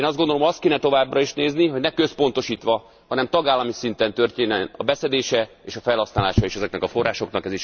Én azt gondolom azt kéne továbbra is nézni, hogy ne központosítva, hanem tagállami szinten történjen a beszedése, és a felhasználása is ezeknek a forrásoknak.